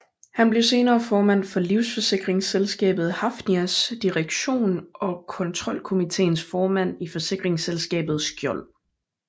Han blev senere formand for livsforsikringsselskabet Hafnias direktion og kontrolkomiteens formand i forsikringsselskabet Skjold